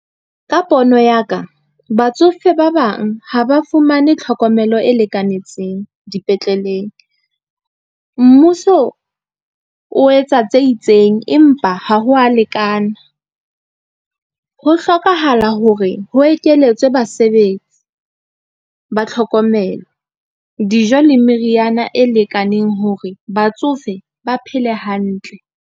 Ka pono ya ka, batsofe ba bang ha ba fumane tlhokomelo e lekanetseng dipetleleng, mmuso o etsa tse itseng, empa ha ho a lekana. Ho hlokahala hore ho ekeletswe basebetsi ba tlhokomelo, dijo le meriana e lekaneng hore batsofe ba phele hantle.